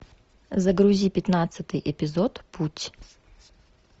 загрузи пятнадцатый эпизод путь